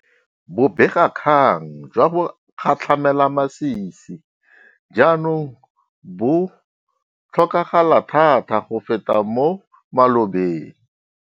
Bobegakgang jwa bogatlhamelamasisi jaanong bo tlhokagala thata go feta mo malobeng.